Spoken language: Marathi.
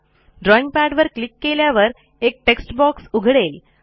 ड्रॉईंग पॅडवर क्लिक केल्यावर एक टेक्स्ट बॉक्स उघडेल